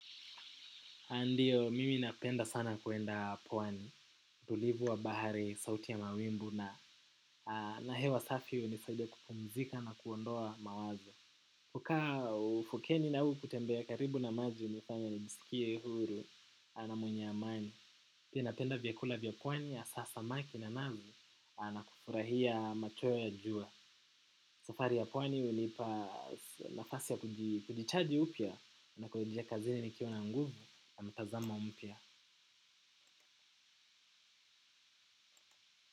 A ndiyo, mimi napenda sana kuenda pwani, tulivu wa bahari, sauti ya mawimbu na na hewa safi unisaidia kupumzika na kuondoa mawazo. Kukaa ufukeni na huu kutembea karibu na maji unifanya nijisikie huru na mwenye amani. Pia penda vyakula vya pwani hasa samaki na nazi na kufurahia machweo ya jua. Safari ya pwani unipa nafasi ya kujichaji upya na kurudia kazini nikiwa na nguvu na mtazamo mpya.